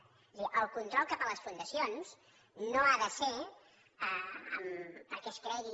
és a dir el control cap a les fundacions no ha de ser perquè es cregui